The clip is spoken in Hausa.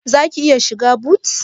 Zaki iya shiga but?